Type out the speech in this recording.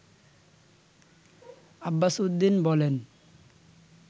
আব্বাসউদ্দিন বলেন